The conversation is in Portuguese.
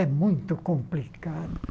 É muito complicado.